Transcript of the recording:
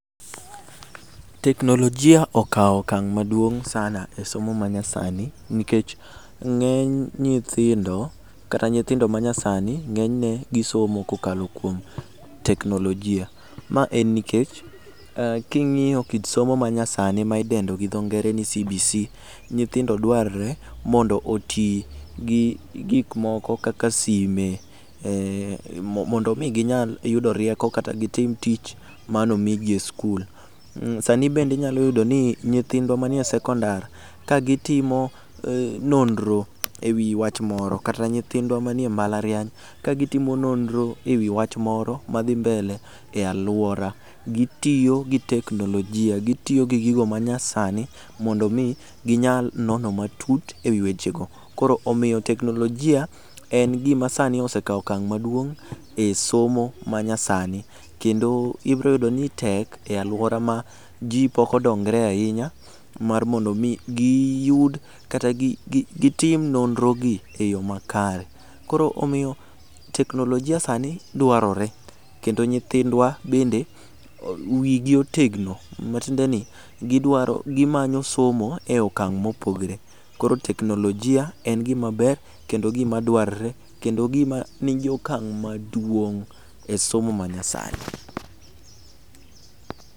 Teknolojia okawo okang' maduong' sana e somo manyasani nikech ng'eny nyithindo kata nyithindo manyasani ng'enyne gisomo kokalo kuom teknolojia ma en nikech king'iyo kit somo manyasani ma idendo ni cbc nyithindo dwarore ni oti gi gik moko kaka sime mondo mi ginyal yudo rieko kata gitim tich mane omigi e skul, sani bende inyalo yudo ni jyithindwa manie sekondar ka gitimo nonro ewi wach moro kata nyithindwa manie mbalariany ka gitimo nonro ewi wach moro madhi mbele e aluora gitioyo gi teknolojia gitiyo gi gigo manyasani mondo mi ginyal nono matut ewi weche go koro omiyo teknolojia en gima sani osekawo okang' maduong' e somo manyasani kendo ibiro yudo ni tek e aluora ma ji pok odongore ahinya mar mondo mi giyud kata gitim nonro gi e yo makare, koro omiyo teknolojia sani dwarore kendo nyithindwa bende wigi otegno matiendeni ni gimanyo somo e okang' mopogore koro teknolojia en gima ber kendo gima dwrore kendo gima nigi okang' maduong' e somo manyasani.